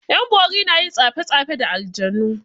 'Yan bori na yin tsafe tsafe da aljanu.